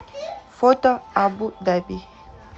фото абу даби